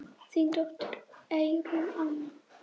Þín dóttir, Eyrún Anna.